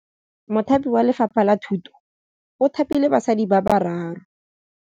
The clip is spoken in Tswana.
Mothapi wa Lefapha la Thutô o thapile basadi ba ba raro.